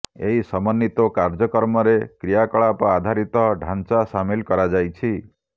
ଏହି ସମନ୍ୱିତ କାର୍ଯ୍ୟକ୍ରମରେ କ୍ରିୟାକଳାପ ଆଧାରିତ ଢାଂଚା ସାମିଲ କରାଯାଇଛି